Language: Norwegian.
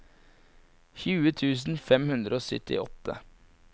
tjue tusen fem hundre og syttiåtte